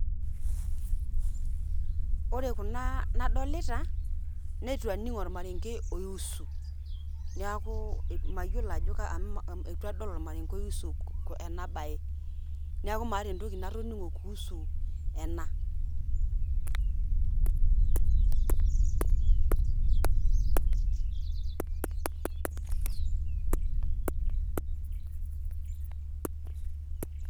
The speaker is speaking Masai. Ore kuna nadolita, neitu aning' ormarenke oiusu. Neeku mayiolo ajo ka amu eitu adol ormarenke oiusu ena bae. Neeku maata entoki natoning'o kuusu ena.